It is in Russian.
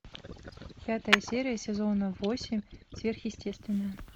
пятая серия сезона восемь сверхъестественное